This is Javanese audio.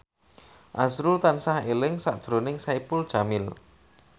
azrul tansah eling sakjroning Saipul Jamil